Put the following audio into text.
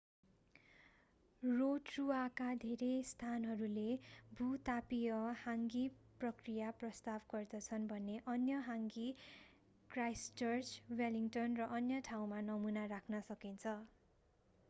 रोटरूआका धेरै स्थानहरूले भू-तापीय हाङ्गी प्रक्रिया प्रस्ताव गर्दछन् भने अन्य हाङ्गी क्राइस्टचर्च वेलिङ्टन र अन्य ठाउँमा नमूना राख्न सकिन्छ